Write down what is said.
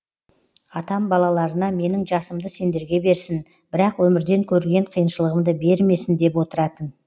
атам балаларына менің жасымды сендерге берсін бірақ өмірден көрген қиыншылығымды бермесін деп отыратын